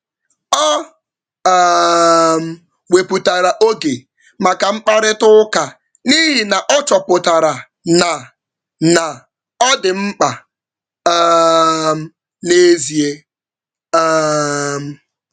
Ọ um wepụtara oge maka mkparịta ụka n’ihi na ọ chọpụtara na na ọ dị mkpa um n’ezie. um